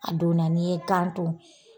A donna n'i ye ganton.